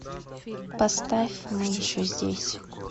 поставь мы еще здесь